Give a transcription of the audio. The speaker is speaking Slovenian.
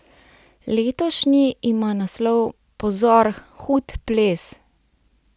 Letošnji ima naslov Pozor, hud ples!